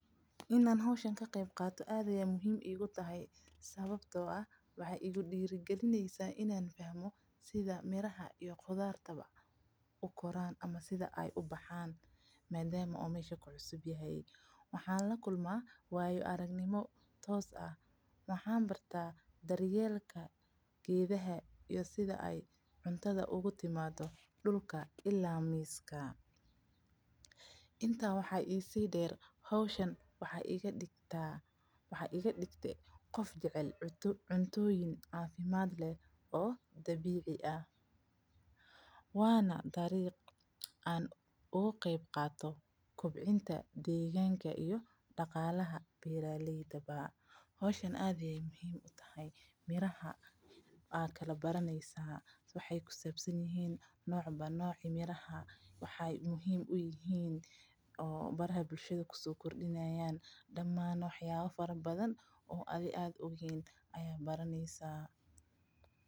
Inaan howshani ka qeyb qaato aad ayeey muhiim iigu tahay sababta oo ah waxeey igu diiri galisa inaan barto sida aay cunada ubaxdo iyo sida aay oogu imaato dulka ila miiska waxeey iga digte qof jecel cunada dabiiciga ah waana sababta aan beeraleyda ula qeeb qaato miraha waay fican yihiin wax yaaba badan oo kusabsan ayaad baraneysa.